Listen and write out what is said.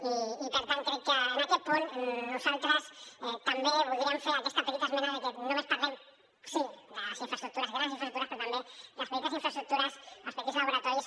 i per tant crec que en aquest punt nosaltres també voldríem fer aquesta petita esmena de que només parlem sí de les infraestructures grans infraestructures però també de les petites infraestructures els petits laboratoris